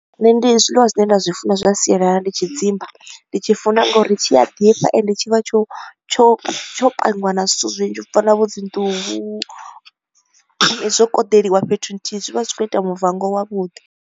Nṋe ndi zwiḽiwa zwine nda zwi funa zwa sialala ndi tshidzimba, ndi tshi funa nga uri tshi a ḓifha ende tshi vha tsho tsho tsho pangiwa na zwithu zwinzhi u fana na vho dzi nḓuhu, zwo koḓeliwa fhethu nthihi zwi vha zwi kho u ita muvango wa vhuḓi.